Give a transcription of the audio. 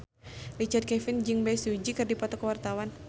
Richard Kevin jeung Bae Su Ji keur dipoto ku wartawan